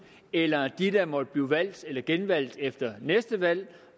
eller de der måtte blive valgt eller genvalgt efter næste valg